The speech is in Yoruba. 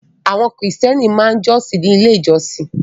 Àwọn Kìrìtẹ́ẹ́nì máa ń jọ́sìn ní Ilé-ìjọsìn.